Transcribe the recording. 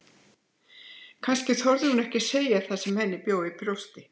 Kannski þorði hún ekki að segja það sem henni bjó í brjósti.